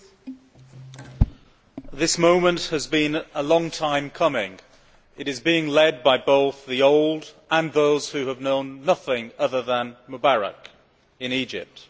Madam President, this moment has been a long time coming. It is being led by both the old and by those who have known nothing other than Mubarak in Egypt.